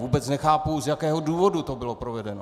Vůbec nechápu, z jakého důvodu to bylo provedeno.